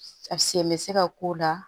A sen bɛ se ka k'o la